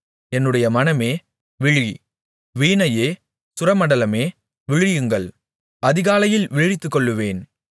என்னுடைய மனமே விழி வீணையே சுரமண்டலமே விழியுங்கள் அதிகாலையில் விழித்துக்கொள்வேன்